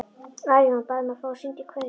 Arion bað um að fá að syngja kveðjusöng.